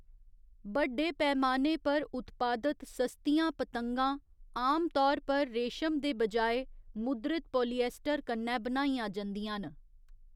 बड्डे पैमाने पर उत्पादत सस्तियां पतंगां आमतौर पर रेशम दे बजाए मुद्रित पालिएस्टर कन्नै बनाइयां जंदियां न।